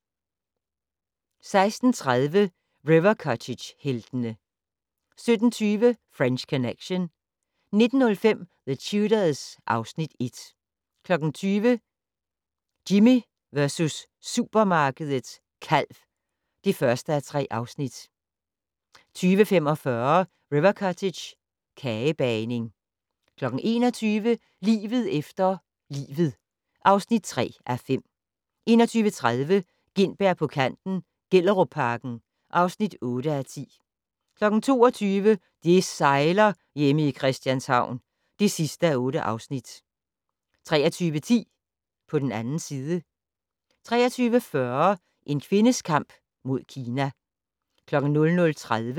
16:30: River Cottage-heltene 17:20: French Connection 19:05: The Tudors (Afs. 1) 20:00: Jimmy versus supermarkedet - kalv (1:3) 20:45: River Cottage - kagebagning 21:00: Livet efter livet (3:5) 21:30: Gintberg på kanten - Gellerupparken (8:10) 22:00: Det sejler - Hjemme i Christianshavn (8:8) 23:10: På den 2. side 23:40: En kvindes kamp mod Kina